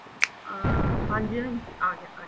ਅਮ ਹਾਂਜੀ ਹਾਂਜੀ ਆਗਿਆ ਆਗਿਆ